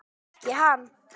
En ekki hann.